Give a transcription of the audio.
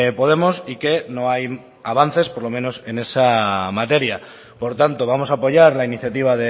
podemos y que no hay avances por lo menos en esa materia por tanto vamos a apoyar la iniciativa